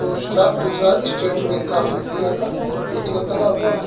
दुस्का दूसरा state bank of India का ATM लगा हुआ है।